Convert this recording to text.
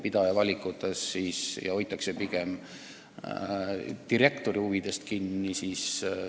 Pigem on silmas peetud direktori huvisid.